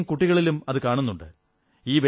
വളരെയധികം കുട്ടികളിലും അതു കാണുന്നുണ്ട്